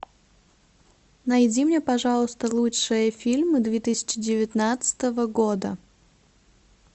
найди мне пожалуйста лучшие фильмы две тысячи девятнадцатого года